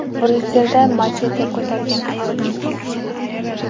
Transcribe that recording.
Bryusselda machete ko‘targan ayol ikki kishini yaraladi.